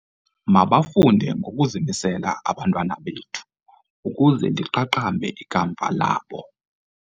Mabafunde ngokuzimisela abantwana bethu ukuze liqaqambe ikamva labo.